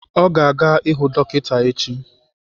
Ọ ga-aga ịhụ dọkịta echi.